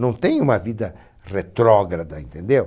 Não tenho uma vida retrógrada, entendeu?